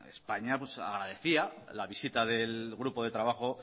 españa agradecía la visita del grupo de trabajo